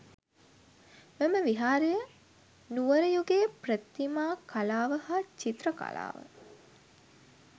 මෙම විහාරය නුවර යුගයේ ප්‍රතිමා කලාව හා චිත්‍ර කලාව